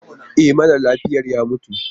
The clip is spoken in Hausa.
E, mara lafiyar ya mutu.